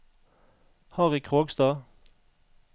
Harry Krogstad